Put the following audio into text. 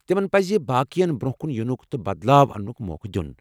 تمن پزِ باقین برٛۄنٛہہ کُن ینُک تہٕ بدلاو انٛنُک موقع دیُن۔